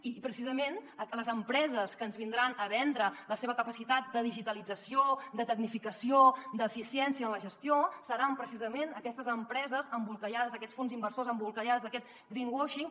i precisament les empreses que ens vindran a vendre la seva capacitat de digitalització de tecnificació d’eficiència en la gestió seran precisament aquestes empreses embolcallades d’aquests fons inversors embolcallades d’aquest greenwashing